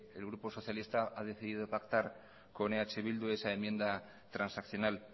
el grupo socialista ha decidido pactar con eh bildu esa enmienda transaccional